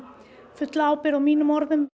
fulla ábyrgð á mínum orðum